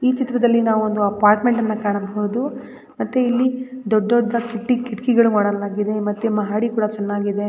ಈ ಚಿತ್ರದಲ್ಲಿ ನಾವು ಒಂದು ಅಪಾರ್ಟ್ಮೆಂಟ್ ನ್ನ ಕಾಣಬಹುದು ಮತ್ತೆ ಇಲ್ಲಿ ದೊಡ್ಡ ದೊಡ್ಡದಾಗಿ ಕಿಟಕಿ ಕಿಟಕಿಗಳನ್ನು ಮಾಡಲಾಗಿದೆ ಮತ್ತೆ ಮಹಡಿ ಕೂಡ ಚೆನ್ನಾಗಿದೆ.